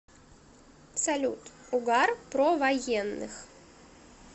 салют угар про военных